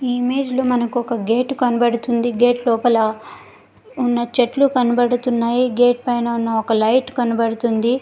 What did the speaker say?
ఈ ఇమేజ్ లో మనకొక గేట్ కనపడుతుంది గేట్ లోపల ఉన్న చెట్లు కనపడుతున్నాయి గేట్ పైన ఉన్న ఒక లైట్ కనపడుతుంది.